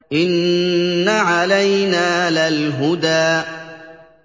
إِنَّ عَلَيْنَا لَلْهُدَىٰ